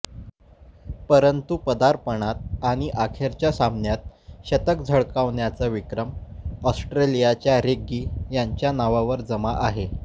परंतु पदार्पणात आणि अखेरच्या सामन्यात शतक झळकावण्याचा विक्रम ऑस्ट्रेलियाच्या रेग्गी यांच्या नावावर जमा आहे